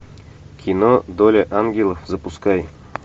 кино доля ангелов запускай